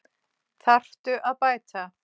Þarftu að bæta?